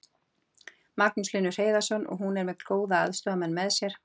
Magnús Hlynur Hreiðarsson: Og hún er með góða aðstoðarmenn með sér?